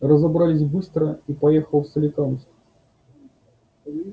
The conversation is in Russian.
разобрались быстро и поехал в соликамск